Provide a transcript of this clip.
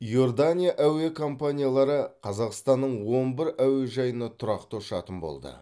иордания әуе компаниялары қазақстанның он бір әуежайына тұрақты ұшатын болды